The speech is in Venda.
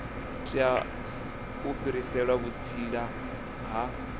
tea u fhirisela vhutsila ha